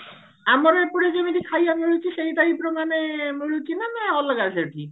ଅମରେ ଏପଟେ ଯେମତି ଖାଇବା ମିଳୁଛି ସେଇ type ର ମାନେ ମିଳୁଛି ନା ଅଲଗା ସେଠି